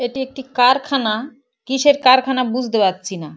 এটি একটি কারখানা কীসের কারখানা বুঝতে পারছি না।